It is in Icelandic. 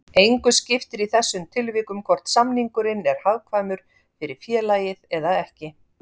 Engu skiptir í þessum tilvikum hvort samningurinn er hagkvæmur fyrir félagið eða ekki.